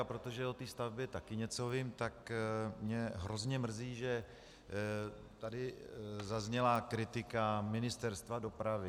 A protože o té stavbě také něco vím, tak mě hrozně mrzí, že tady zazněla kritika Ministerstva dopravy.